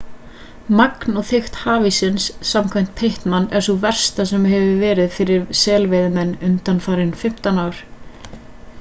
magn og þykkt hafíssins samkvæmt pittman er sú versta sem verið hefur fyrir selveiðimenn undanfarin 15 ár